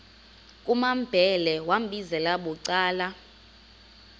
kumambhele wambizela bucala